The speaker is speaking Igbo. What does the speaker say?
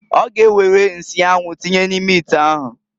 Ọ ga ewere nsị anwụ tinye n'ime ite ahụ.